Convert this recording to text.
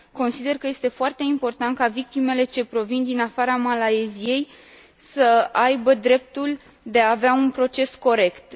Consider că este foarte important ca victimele ce provin din afara Malaysiei să aibă dreptul de a avea un proces corect.